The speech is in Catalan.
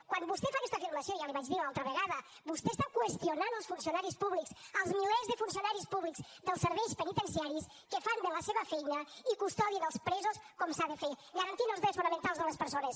quan vostè fa aquesta afirmació ja li ho vaig dir l’altra vegada vostè està qüestionant els funcionaris públics els milers de funcionaris públics dels serveis penitenciaris que fan bé la seva feina i custodien els presos com s’ha de fer garantint els drets fonamentals de les persones